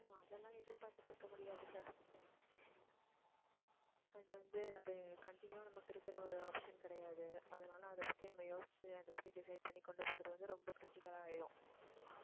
அதெல்லாம் எதிர்பார்த்துட்டு இருக்க முடியாதுல்ல. அது வந்து, அது continue வா நமக்கு இருக்கிற ஒரு option கிடையாது. அதனால, அதைப்பத்தி நம்ம யோசிச்சு அதை பத்தி decide பண்ணி கொண்டு போறது வந்து, ரொம்ப critical ஆ ஆயிரும்